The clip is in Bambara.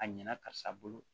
A ɲɛna karisa bolo